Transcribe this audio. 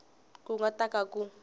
ku nga ta ka ku